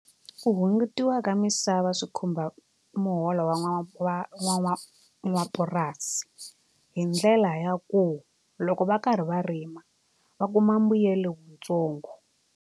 Mu hungutiwa ka misava swi khumba muholo n'wapurasi hi ndlela ya ku loko va karhi va rima va kuma mbuyelo wutsongo.